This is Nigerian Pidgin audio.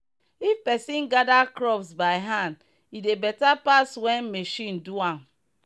if person gather crops by hand e dey better pass when machine do am.